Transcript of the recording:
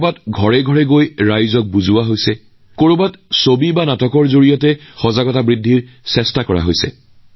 কৰবাত মানুহে দুৱাৰে দুৱাৰে গৈ ভোটাৰৰ বিষয়ে ভোটাৰক অৱগত কৰিছে কৰবাত ছবি আকি কৰবাত ৰাজপথৰ নাটকৰ জৰিয়তে যুৱকযুৱতীসকলক আকৰ্ষিত কৰা হৈছে